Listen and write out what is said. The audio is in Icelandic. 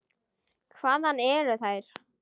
Hvaðan eru þær.